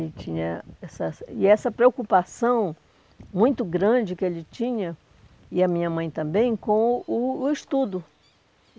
tinha essa, e essa preocupação muito grande que ele tinha, e a minha mãe também, com o o estudo.